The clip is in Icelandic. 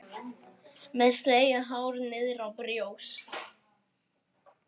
Með slegið hár niðrá brjóst.